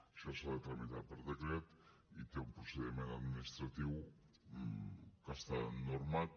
això s’ha de tramitar per decret i té un procediment administratiu que està normat